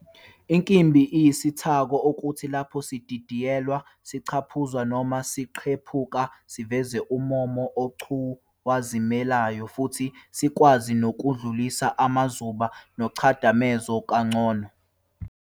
Inkimbi iyisithako, okuthi lapho sididiyelwa, siphucuzwa, noma siqephuka, siveze ummomo ocwazimulayo, futhi sikwazi nokudlulisa amazuba nomchadamezo kangcono.